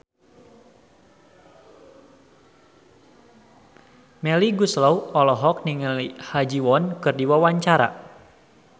Melly Goeslaw olohok ningali Ha Ji Won keur diwawancara